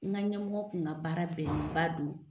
N ka ɲɛmɔgɔ kun ka baara bɛnnenba don.